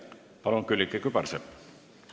Palun, Külliki Kübarsepp!